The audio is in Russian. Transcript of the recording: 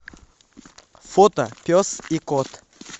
фото пес и кот